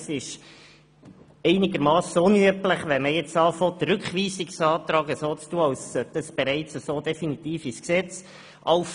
Es ist einigermassen unüblich, einen Rückweisungsantrag so zu behandeln, als gehörte er in der vorliegenden Form definitiv ins Gesetz. «